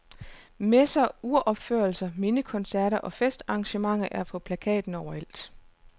Messer, uropførelser, mindekoncerter og festarrangementer er på plakaten overalt.